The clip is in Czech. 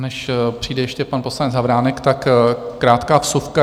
Než přijde ještě pan poslanec Havránek, tak krátká vsuvka.